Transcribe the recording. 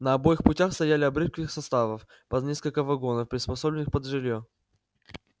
на обоих путях стояли обрывки составов по несколько вагонов приспособленных под жилье